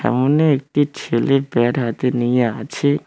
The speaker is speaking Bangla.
সামনে একটি ছেলে ব্যাট হাতে নিয়ে আছে।